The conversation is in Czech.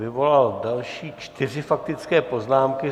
Vyvolal další čtyři faktické poznámky.